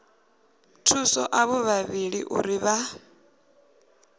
thusa avho vhavhili uri vha